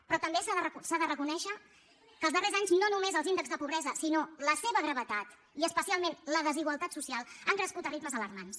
però també s’ha de reconèixer que els darrers anys no només els índexs de pobresa sinó la seva gravetat i especialment la desigualtat social han crescut a ritmes alarmants